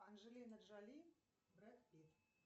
анджелина джоли брэд питт